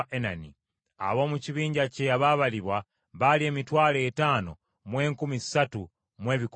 Ab’omu kibinja kye abaabalibwa baali emitwalo etaano mu enkumi ssatu mu ebikumi bina (53,400).